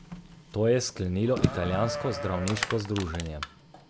To je sklenilo italijansko zdravniško združenje.